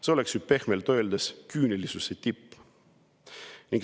See oleks ju pehmelt öeldes küünilisuse tipp.